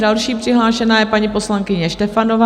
Další přihlášená je paní poslankyně Štefanová.